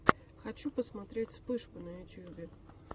хочу посмотреть вспышку на ютубе